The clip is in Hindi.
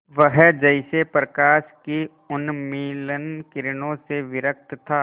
वह जैसे प्रकाश की उन्मलिन किरणों से विरक्त था